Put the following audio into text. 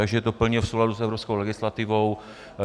Takže to je plně v souladu s evropskou legislativou.